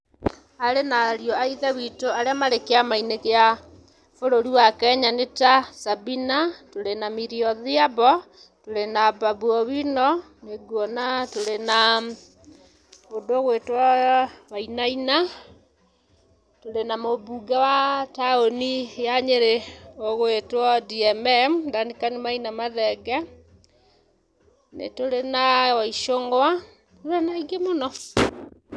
Aarĩ na ariũ a ithe witũ arĩa marĩ kĩama-inĩ kĩa bũrũri wa Kenya nĩ ta; Sabina, twĩ na Milly Odhiambo, tũrĩ na Babu Owino, nĩ nguona tũrĩ na mũndũ ũgwĩtwo Wainaina, tũrĩ na mũmbunge wa taũni ya Nyĩrĩ ũgwĩtwo D.M.M (Dancan Maina Mathenge),nĩ tũrĩ na Wa Ichũng'wa, tũrĩ na aingĩ mũno.